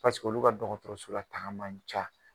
Pasee olu ka dɔgɔtɔrɔsola taga. man ca.